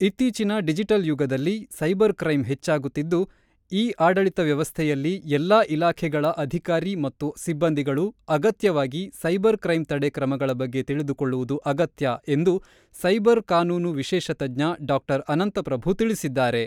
ಇತ್ತೀಚಿನ ಡಿಜಿಟಲ್ ಯುಗದಲ್ಲಿ "cyber crime" ಹೆಚ್ಚಾಗುತ್ತಿದ್ದು ಇ-ಆಡಳಿತ ವ್ಯವಸ್ಥೆಯಲ್ಲಿ ಎಲ್ಲಾ ಇಲಾಖೆಗಳ ಅಧಿಕಾರಿ ಮತ್ತು ಸಿಬ್ಬಂದಿಗಳು ಅಗತ್ಯವಾಗಿ ಸೈಬರ್ ಕ್ರೈಂ ತಡೆ ಕ್ರಮಗಳ ಬಗ್ಗೆ ತಿಳಿದುಕೊಳ್ಳುವುದು ಅಗತ್ಯ ಎಂದು ಸೈಬರ್ ಕಾನೂನು ವಿಶೇಷ ತಜ್ಞ ಡಾ.ಅನಂತ ಪ್ರಭು ತಿಳಿಸಿದ್ದಾರೆ.